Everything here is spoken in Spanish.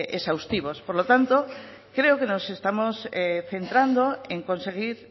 exhaustivos por lo tanto creo que nos estamos centrando en conseguir